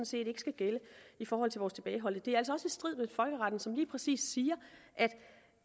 set ikke skal gælde i forhold til vores tilbageholdte det er altså også strid med folkeretten som lige præcis siger at